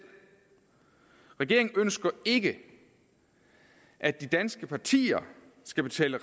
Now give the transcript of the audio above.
regeringen ønsker ikke at de danske partier skal betale